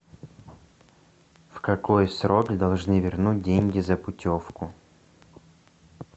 в какой срок должны вернуть деньги за путевку